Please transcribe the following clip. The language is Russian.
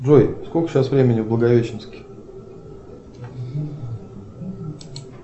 джой сколько сейчас времени в благовещенске